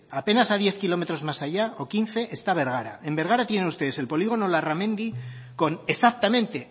apenas a diez kilómetros más allá o quince está bergara en bergara tienen ustedes el polígono larramendi con exactamente